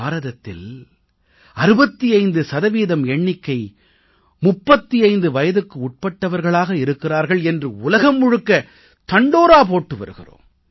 பாரதத்தில் 65 சதவீதத்தினர் 35 வயதுக்குட்பட்டவர்களாக இருக்கிறார்கள் என்று உலகம் முழுக்க தண்டோரா போட்டு வருகிறோம்